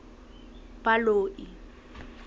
baloi